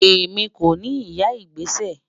Ẹmi kò ni ìyà igbésẹ́.